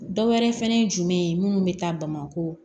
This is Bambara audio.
Dɔ wɛrɛ fɛnɛ ye jumɛn ye minnu be taa bamako